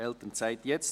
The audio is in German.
«Elternzeit jetzt!